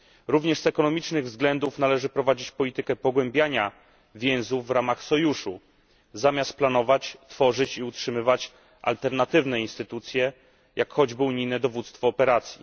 Również z ekonomicznych względów należy prowadzić politykę pogłębiania więzów w ramach sojuszu, zamiast planować, tworzyć i utrzymywać alternatywne instytucje, jak choćby unijne dowództwo operacji.